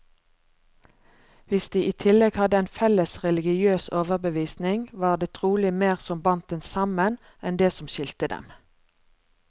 Hvis de i tillegg hadde en felles religiøs overbevisning, var det trolig mer som bandt dem sammen, enn det som skilte dem.